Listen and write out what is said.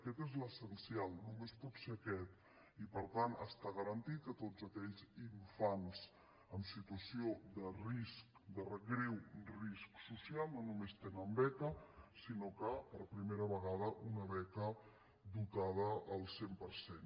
aquest és l’essencial només pot ser aquest i per tant està garantit que tots aquells infants en situació de risc de greu risc social no només tenen beca sinó que per primera vegada una beca dotada al cent per cent